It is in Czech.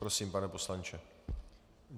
Prosím, pane poslanče.